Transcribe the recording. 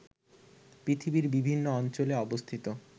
পৃথিবীর বিভিন্ন অঞ্চলে অবস্থিত